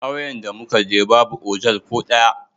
Kauyen da mu ka je, babu otal ko daya.